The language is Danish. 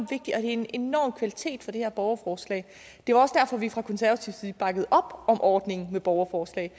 det er en enorm kvalitet ved det her borgerforslag det var også derfor at vi fra konservativ side bakkede op om ordningen med borgerforslag